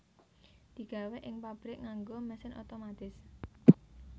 Digawé ing pabrik nganggo mesin otomatis